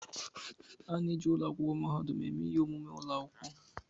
A na-eji ụlọ akwụkwọ mahadum eme ihe omume ụlọ akwụkwọ.